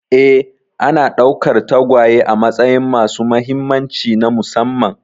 Ee, ana ɗaukar tagwaye a matsayin masu mahimmanci na musamman